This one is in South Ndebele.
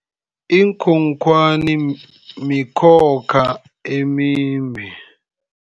Iinkhonkhwani mikhokha emimbi.